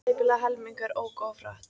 Tæplega helmingur ók of hratt